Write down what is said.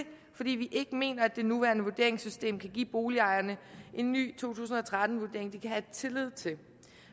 vi ikke mener at det nuværende vurderingssystem kan give boligejerne en ny to tusind og tretten vurdering de kan have tillid til